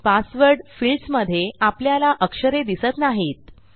password फिल्डसमधे आपल्याला अक्षरे दिसत नाहीत